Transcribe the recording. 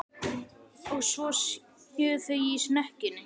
Og svo séu þau í snekkjunni.